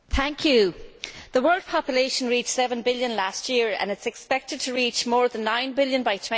Mr President, the world population reached seven billion last year and it is expected to reach more than nine billion by